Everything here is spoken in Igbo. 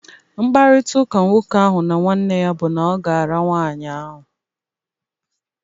Mkparita ụka nwoke ahụ na nwanne ya bụ na oga ara nwaanyị ahụ.